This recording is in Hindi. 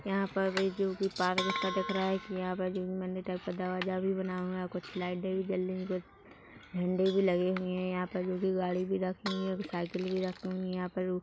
यहाँ पर वई जो भी पार्क सा दिख रहा है यहा बाजू मंदिर टाइप का दरवाजा भी बना हआ है कुछ लाइटे भी जल रही है झंडे भी लगे हुए है यहाँ पर जो कि गाड़ी भी रखी हुई है साइकिल भी रखी हुई है यहाँ पर--